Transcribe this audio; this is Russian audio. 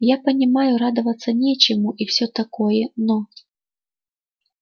я понимаю радоваться нечему и все такое но